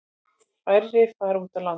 Færri fara út á land.